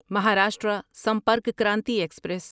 Maharashtra Sampark Kranti express